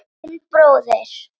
Þinn bróðir